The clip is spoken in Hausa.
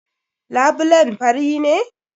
Labulen fari ne?